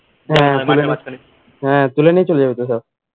হ্যাঁ তুলে নিয়ে চলে যাবে তো সব